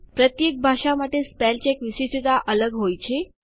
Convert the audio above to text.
પ્રત્યેક ભાષા માટે સ્પેલ ચેક વિશિષ્ટતા અલગ હોય છે